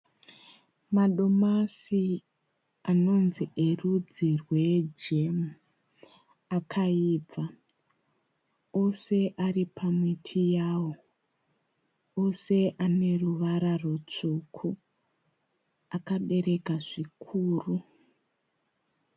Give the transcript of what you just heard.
Madomasi anonzi erudzi rwejemhu akaibva. Ose ari pamiti yawo. Ose ane ruvara rutsvuku. Akabereka zvikuru.